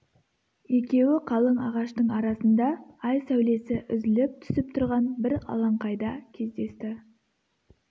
екеуі қалың ағаштың арасында ай сәулесі үзіліп түсіп тұрған бір алаңқайда кездесті